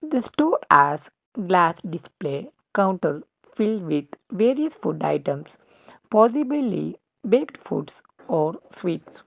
this two glass display counter filled with various food items possibly baked foods or sweets.